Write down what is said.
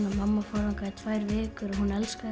mamma fórum þangað í tvær vikur og hún elskaði